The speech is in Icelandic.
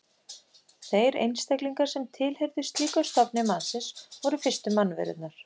Þeir einstaklingar sem tilheyrðu slíkum stofni mannsins voru fyrstu mannverurnar.